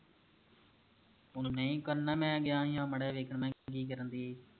ਹੁਣ ਨਹੀ ਕਰਨਾ ਮੈਂ ਗਿਆ ਹੀ ਆਹ ਮਾੜਾ ਜਿਆ ਵੇਖਣਾ ਹੀ ਕਰਨ ਦਈ ਹੀ